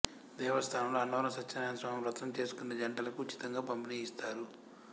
దేవస్థానంలో అన్నవరం సత్యనారాయణస్వామి వ్రతం చేసుకునే జంటలకు ఉచితంగా పంపిణీ చేస్తారు